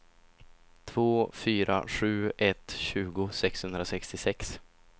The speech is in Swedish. två fyra sju ett tjugo sexhundrasextiosex